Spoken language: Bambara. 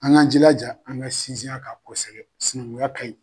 An ga jilaja, an ga sinsin a kan kosɛbɛ sinankunya kaɲi